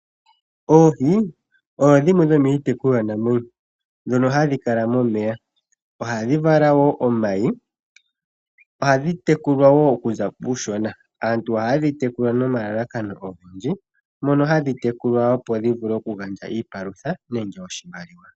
Oohi odho dhimwe dhomiitekulwa namwenyo ndhono hadhi kala momeya . Ohadhi vala woo omayi ohadhi tekulwa woo okuza kuushona. Aantu ohayedhi tekula nomalalakano ogendji mono hadhi tekulwa opo dhivule oku gandja iipalutha nenge oshimaliwa.